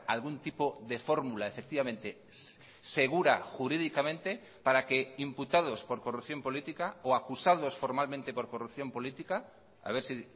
algún tipo de fórmula efectivamente segura jurídicamente para que imputados por corrupción política o acusados formalmente por corrupción política a ver si